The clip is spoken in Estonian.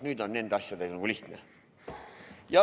Nüüd on nende asjadega lihtne.